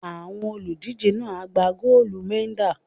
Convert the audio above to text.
Àwọn olùdíje náà á gba góólù mẹ́dà.